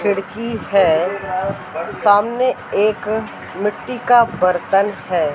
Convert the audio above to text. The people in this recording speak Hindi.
खिड़की है सामने एक मिट्टी का बर्तन है।